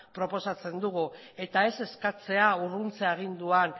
proposatzen dugu eta ez eskatzea urruntze agindua